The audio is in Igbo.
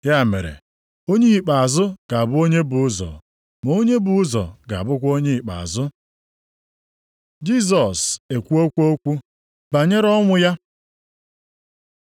“Ya mere, onye ikpeazụ ga-abụ onye bu ụzọ, ma onye bu ụzọ ga-abụkwa onye ikpeazụ.” Jisọs ekwuokwa okwu banyere ọnwụ ya